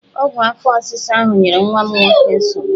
Ọgwụ afọ ọsịsa ahụ nyere nwa m nwoke nsogbu!